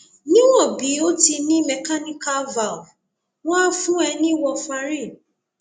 níwọn bí o ti ní mechanical valve wọn á fún ẹ ní warfarin